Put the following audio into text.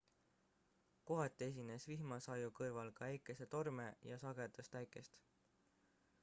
kohati esines vihmasaju kõrval ka äikesetorme ja sagedast äikest